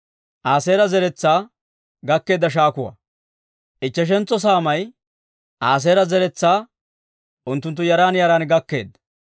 Ichcheshentso saamay Aaseera zeretsaa unttunttu yaran yaran gakkeedda.